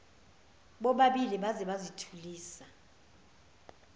bobabili baze bazithulisa